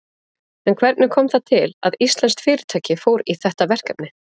En hvernig kom það til að íslenskt fyrirtæki fór í þetta verkefni?